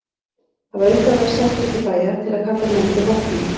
Það var upphaflega sent milli bæja til að kalla menn til vopna.